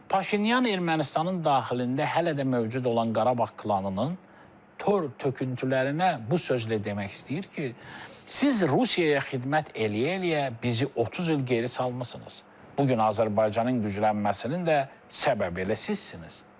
Paşinyan Ermənistanın daxilində hələ də mövcud olan Qarabağ klanının tör-töküntülərinə bu sözlə demək istəyir ki, siz Rusiyaya xidmət eləyə-eləyə bizi 30 il geri salmısınız, bu gün Azərbaycanın güclənməsinin də səbəbi elə sizsiniz.